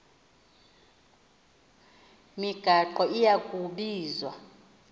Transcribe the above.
migaqo iya kubizwa